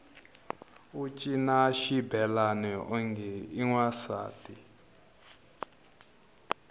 u cina xibelani onge i wansati